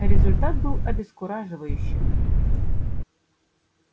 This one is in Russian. результат был обескураживающим